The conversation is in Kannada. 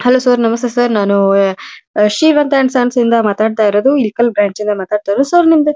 ಹಲೋ ಸರ್ ನಮಸ್ತೆ ಸರ್ ನಾನು ವೇ ಅಅ ಶೀಲತಾ ಅಂಡ್ ಸನ್ಸ್ ಇಂದ ಮಾತಾಡ್ತಾ ಇರದು ಇಲಿಕಲ್ ಬ್ರಾಂಚ್ ಇಂದ ಮಾತಾಡ್ತಾ ಇರದು ಸರ್ ನಿಮ್ಮದು--